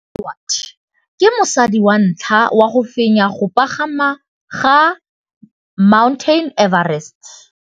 Cathy Odowd ke mosadi wa ntlha wa go fenya go pagama ga Mt Everest.